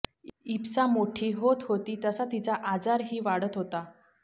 इप्सा मोठी होत होती तसा तिचा आजारही वाढत होता